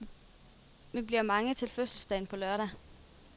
Vi bliver mange til fødselsdagen på lørdag.